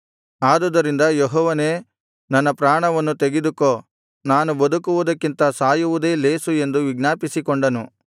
ಆದುದರಿಂದ ಯೆಹೋವನೇ ನನ್ನ ಪ್ರಾಣವನ್ನು ತೆಗೆದುಕೋ ನಾನು ಬದುಕುವುದಕ್ಕಿಂತ ಸಾಯುವುದೇ ಲೇಸು ಎಂದು ವಿಜ್ಞಾಪಿಸಿಕೊಂಡನು